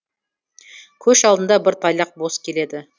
көш алдында бір тайлақ бос келеді